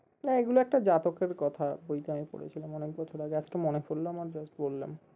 না এগুলো একটা জাতকের কথা বই তে আমি পড়েছিলাম অনেক বছর আগে আজকে মনে পরলো আমার just বললাম